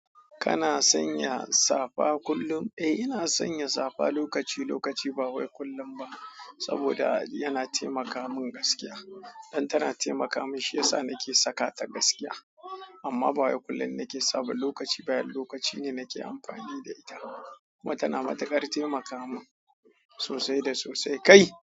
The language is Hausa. Kana sanya safa kullum? Eh, ina sanya safa lokaci-lokaci, bawai kullum ba saboda yana taimaka min gaskiya. Don tana taimaka min, shi yasa nake sakata gaskiya. Amma ba kullum nake saba lokaci ba, yan lokaci ne nake amfani da ita. Kuma ta na matukar taimaka min sosai da sosai kai.